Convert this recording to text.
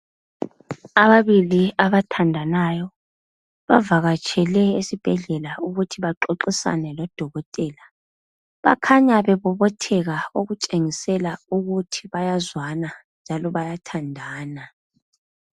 Ababili abathandanayo bavakatshele esibhedlela ukuthi baxoxisane lodokotela bakhanya bebobotheka okutshengisela ukuthi bayazwana njalo bayathandana.